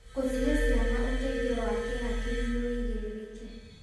Gũcihe ciana ũteithio wa kĩhakiri nĩ wĩigĩrĩrĩki.